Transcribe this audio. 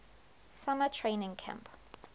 summer training camp